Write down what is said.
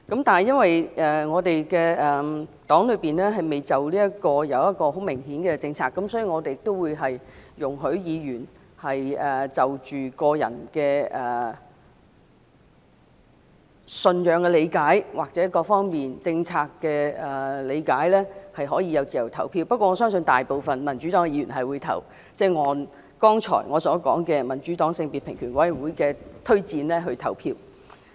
但是，基於我們黨內就這方面未有明顯的政策，所以我們容許議員就個人的信仰或各方面政策的理解而自由投票，不過，我相信大部分民主黨的議員會按我剛才提到民主黨的性別平權委員會的推薦來投票。